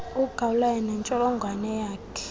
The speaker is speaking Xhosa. ugawulayo nentsholongwane yakhe